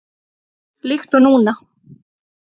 Líkt og núna.